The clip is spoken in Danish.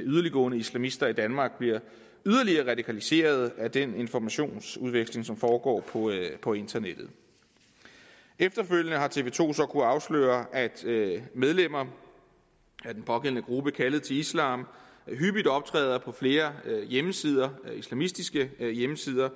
yderligtgående islamister i danmark bliver yderligere radikaliseret af den informationsudveksling som foregår på internettet efterfølgende har tv to så kunnet afsløre at medlemmer af den pågældende gruppe kaldet til islam hyppigt optræder på flere hjemmesider islamistiske hjemmesider